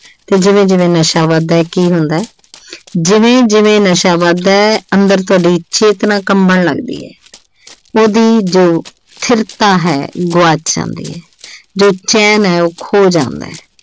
ਤੇ ਜਿਵੇਂ-ਜਿਵੇਂ ਨਸ਼ਾ ਵੱਧਦਾ ਕੀ ਹੁੰਦੈ, ਜਿਵੇਂ-ਜਿਵੇਂ ਨਸ਼ਾ ਵੱਧਦਾ ਅੰਦਰ ਤੁਹਾਡੀ ਚੇਤਨਾ ਕੰਬਣ ਲੱਗਦੀ ਐ ਉਹਦੀ ਜੋ ਹੈ ਗੁਆਚਣ ਦੀ ਜੋ ਚੈਨ ਹੈ ਉਹ ਖੋਹ ਜਾਂਦੈ।